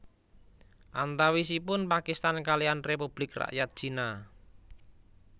Antawisipun Pakistan kaliyan Republik Rakyat Cina